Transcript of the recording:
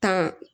Tan